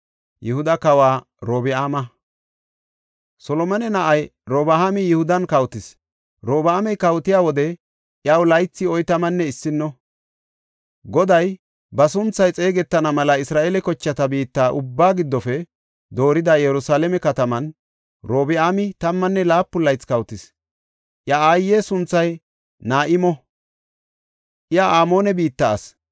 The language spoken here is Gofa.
Solomone na7ay Robi7aami Yihudan kawotis; Robi7aami kawotiya wode iyaw laythi oytamanne issino. Goday ba sunthay xeegetana mela Isra7eele kochata biitta ubbaa giddofe doorida Yerusalaame kataman, Robi7aami tammanne laapun laythi kawotis. Iya aaye sunthay Na7imo; iya Amoone biitta asi.